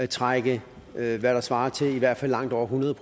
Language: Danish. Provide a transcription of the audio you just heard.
trække hvad der svarer til i hvert fald langt over hundrede